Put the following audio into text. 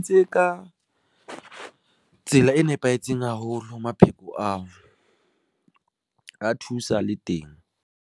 Tse ka tsela e nepahetseng haholo, mapheko ao, a thusa le teng.